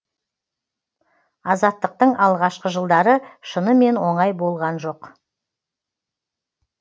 азаттықтың алғашқы жылдары шынымен оңай болған жоқ